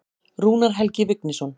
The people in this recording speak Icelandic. Rúnar Helgi Vignisson.